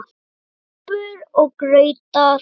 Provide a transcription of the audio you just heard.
SÚPUR OG GRAUTAR